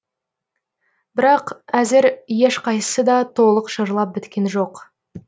бірақ әзір ешқайсысы да толық жырлап біткен жоқ